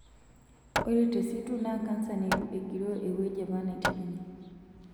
Ore te situ naa kansa neitu egiroo ewueji apa neiterunye.